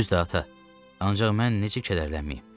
Düzdür, ata, ancaq mən necə kədərlənməyim?